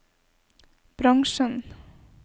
bransjen